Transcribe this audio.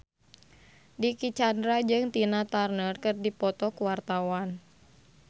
Dicky Chandra jeung Tina Turner keur dipoto ku wartawan